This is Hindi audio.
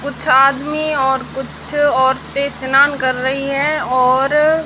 कुछ आदमी और कुछ औरतें स्नान कर रही है और--